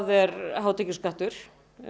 er hátekjuskattur